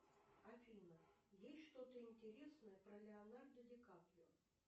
афина есть что то интересное про леонардо ди каприо